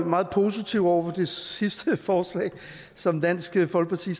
meget positiv over for det sidste forslag som dansk folkeparti